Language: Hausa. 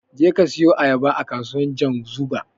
Jeka ka siyu Ayaba a kasuwar Janzuga.